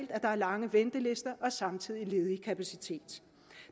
at der er lange ventelister og samtidig ledig kapacitet